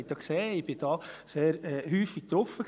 Sie haben ja gesehen, ich war da sehr häufig drauf.